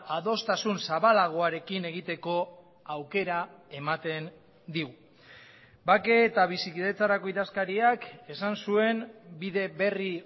adostasun zabalagoarekin egiteko aukera ematen digu bake eta bizikidetzarako idazkariak esan zuen bide berri